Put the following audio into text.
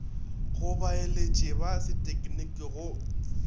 go baeletši ba sethekniki go